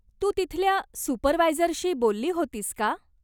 तू तिथल्या सुपरवायझरशी बोलली होतीस का?